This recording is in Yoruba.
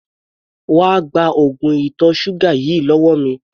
Wá gba oògùn ìtọ̀ ṣúgà yìí lọ́wọ́ mi!